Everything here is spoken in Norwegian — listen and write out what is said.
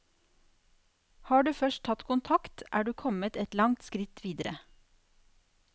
Har du først tatt kontakt, er du kommet et langt skritt videre.